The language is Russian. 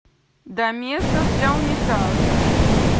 доместос для унитаза